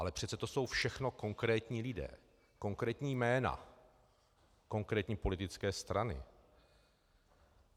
Ale přece to jsou všechno konkrétní lidé, konkrétní jména, konkrétní politické strany.